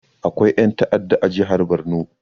Akwai ƴan ta'adda a jihar barno